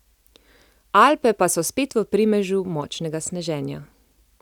Alpe pa so spet v primežu močnega sneženja.